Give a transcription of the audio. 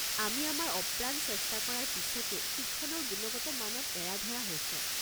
আমি আমাৰ অপ্ৰাণ চেষ্টা কৰা পিছতো শিক্ষণৰ গুণগত মানত এৰা-ধৰা হৈছে।